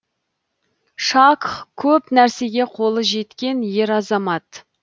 шакх көп нәрсеге қолы жеткен ер азамат